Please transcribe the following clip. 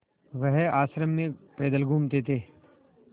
वह आश्रम में पैदल घूमते थे